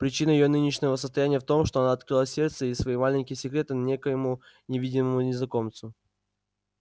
причина её нынешнего состояния в том что она открыла сердце и свои маленькие секреты некоему невидимому незнакомцу